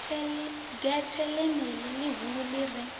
gethe ḽeneḽi ḽihulu ḽi re